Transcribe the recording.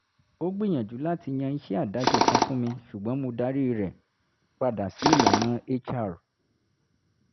ó gbìyànjú láti yan iṣẹ́ àdáṣe kan fún mi ṣùgbọ́n mo darí rẹ̀ padà sí ìlànà hr